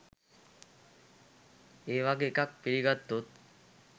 ඒවගේ එකක් පිළිගත්තොත්